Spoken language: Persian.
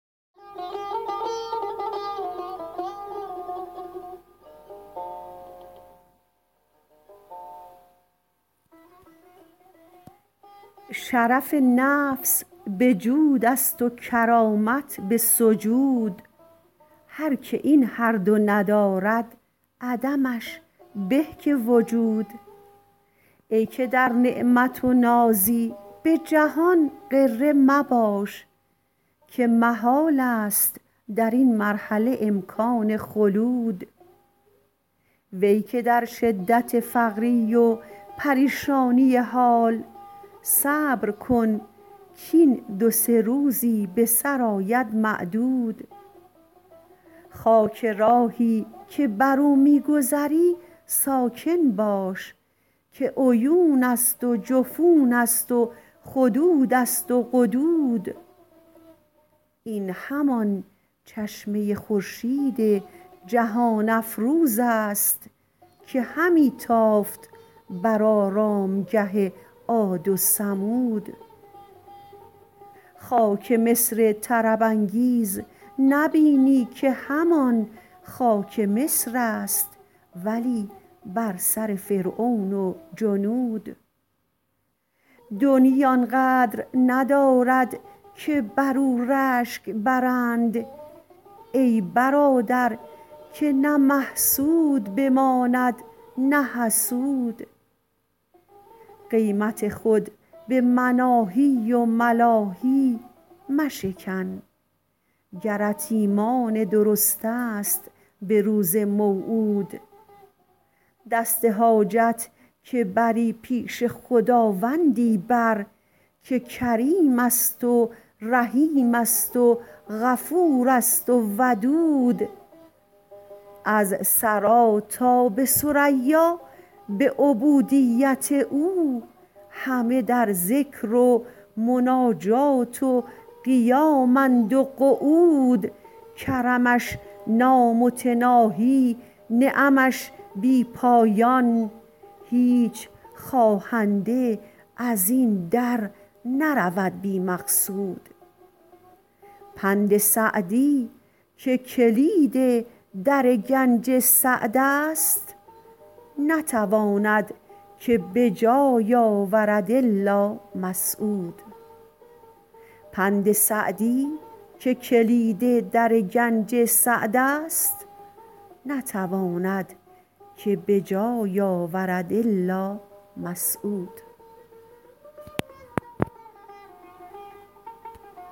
شرف نفس به جود است و کرامت به سجود هر که این هر دو ندارد عدمش به که وجود ای که در نعمت و نازی به جهان غره مباش که محال است در این مرحله امکان خلود وی که در شدت فقری و پریشانی حال صبر کن کاین دو سه روزی به سر آید معدود خاک راهی که بر او می گذری ساکن باش که عیون است و جفون است و خدود است و قدود این همان چشمه خورشید جهان افروز است که همی تافت بر آرامگه عاد و ثمود خاک مصر طرب انگیز نبینی که همان خاک مصر است ولی بر سر فرعون و جنود دنیی آن قدر ندارد که بدو رشک برند ای برادر که نه محسود بماند نه حسود قیمت خود به مناهی و ملاهی مشکن گرت ایمان درست است به روز موعود دست حاجت که بری پیش خداوندی بر که کریم است و رحیم است و غفور است و ودود از ثری تا به ثریا به عبودیت او همه در ذکر و مناجات و قیامند و قعود کرمش نامتناهی نعمش بی پایان هیچ خواهنده از این در نرود بی مقصود پند سعدی که کلید در گنج سعد است نتواند که به جای آورد الا مسعود